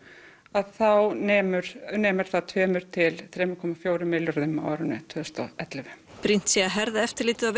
að þá nemur nemur það tvo til þrjá komma fjögur milljörðum á árinu tvö þúsund og ellefu brýnt sé að herða eftirlitið og